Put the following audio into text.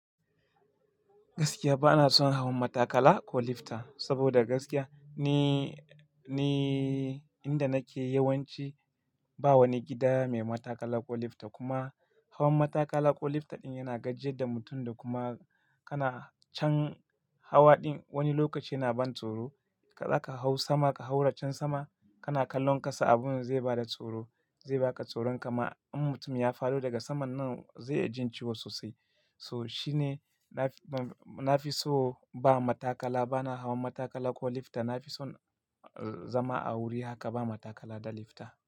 Gaskiya ba na son hawan matakala ko lifta. Saboda gaskiya ni, ni inda nake yawanci ba wani gida mai matakala ko lifta kuma hawan matakala ko lifta ɗin yana gajiyar da mutum da kuma kana can hawa ɗin wani lokaci yana ban tsoro. Kaza ka hau sama ka hau racen sama kana kallon kasa abun zai bada tsoro, zai baka tsoro. Kama in mutum ya fado daga saman nan zai iya jinciwo sosai. So shi ne na fi so ba matakala, ba na hawan matakala ko lifta. Na fi son zama a wuri haka ba matakala da lifta.